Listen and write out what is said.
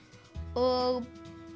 og